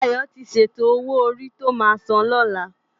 Dayo ti sétó ówó órí tó má sán lòlá